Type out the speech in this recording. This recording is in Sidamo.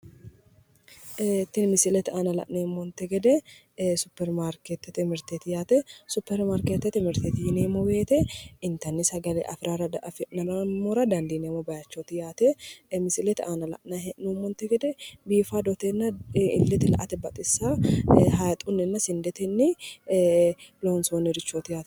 Ee tini misilete aana la'neemmonte gede ee superi maarkeettete mirteeti yaate superi maarkeettete mirteeti yineemmo woyite intanni sagale afi'nammora dandiineemmo bayichooti yaate misilete aana la'nayi hee'noommonte gede biifadotenna illete la'ate baxissawo hayixunni woyi sindetenni ee loonsoonnirichooti yaate